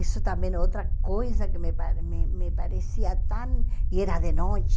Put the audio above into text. Isso também é outra coisa que me pa me me parecia tão... E era de noite.